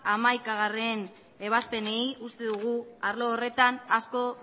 eta hamaikagarrena ebazpenei uste dugu arlo horretan asko